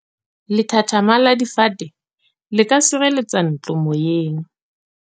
Lethathama la difate le ka sireletsa ntlo moyeng.